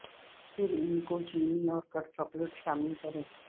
پھر ان کو چینی اور کٹ چاکلیٹ شامل کریں